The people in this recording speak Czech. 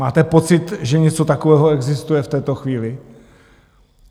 Máte pocit, že něco takového existuje v této chvíli?